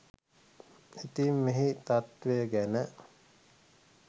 ඉතින් මෙහි තත්වය ගැන